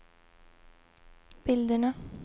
bilderna